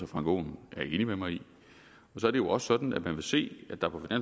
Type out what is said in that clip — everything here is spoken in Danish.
frank aaen er enig med mig i og så er det jo også sådan at man vil se at der på